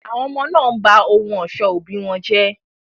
Àwọn ọmọ náà ń ba àwọn ohun ọ̀ṣọ́ òbí wọn jẹ́.